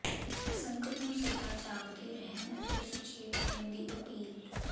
ਸੰਗਤ ਨੂੰ ਸਦਾ ਜਾਗਦੇ ਰਹਿਣ ਅਤੇ ਸੁਚੇਤ ਹੋਣ ਦੀ ਅਪੀਲ